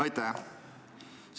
Aitäh!